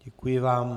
Děkuji vám.